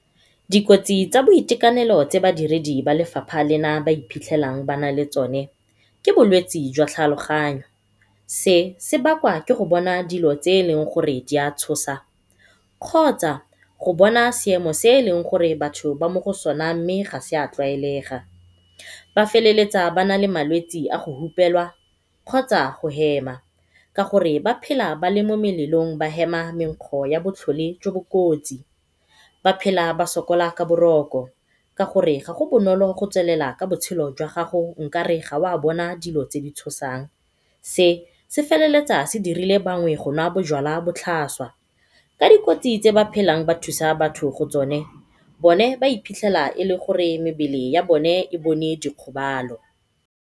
Dikotsi tsa boitekanelo tse badiredi ba lefapha lena ba iphitlhelang ba nale tsone ke bolwetsi jwa tlhaloganyo, se sebakwa ke go bona dilo tse eleng gore di a tshosa kgotsa go bona seemo se eleng gore batho ba mo go sone mme ga sa tlwaelega. Ba feleletsa ba nale malwetsi a go hupelwa kgotsa go hema ka gore ba phela ba le mo melelong ba hema mekgo ya botlhole jo bo kotsi, ba phela ba sokola ka boroko ka gore ga go bonolo go tswelela ka botshelo jwa gago nkare ga wa bona dilo tse di tshosang. Se se feleletsa se dirile bangwe go nwa bojalwa botlhaswa. Ka dikotsi tse ba phelang ba thusa batho mo go tsone bone ba ba iphitlhela e le gore mebele ya bone e bone dikgobalo.